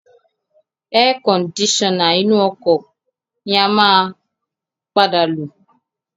Air kondisona inú ọkọ̀ ni a máa padà lo